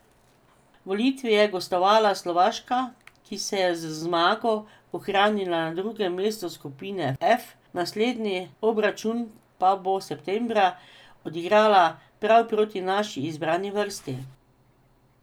V Litvi je gostovala Slovaška, ki se je z zmago ohranila na drugem mestu skupine F, naslednji obračun pa bo septembra odigrala prav proti naši izbrani vrsti.